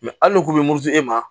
hali n'u k'u bɛ muruti e ma